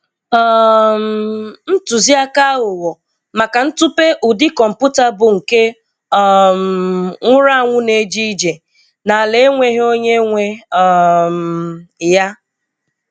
um Ntụziaka aghụghọ maka ntupe ụdị kọmputa bụ nke um nwụrụ anwụ ne-eje ije, n'ala enweghị onye nwe um ya.